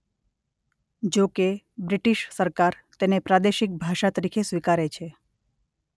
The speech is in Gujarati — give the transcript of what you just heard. જોકે બ્રિટિશ સરકાર તેને પ્રાદેશિક ભાષા તરીકે સ્વીકારે છે.